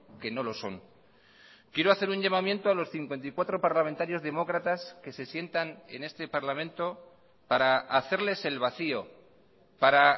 que no lo son quiero hacer un llamamiento a los cincuenta y cuatro parlamentarios demócratas que se sientan en este parlamento para hacerles el vacío para